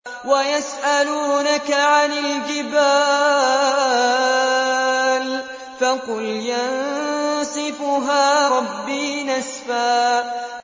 وَيَسْأَلُونَكَ عَنِ الْجِبَالِ فَقُلْ يَنسِفُهَا رَبِّي نَسْفًا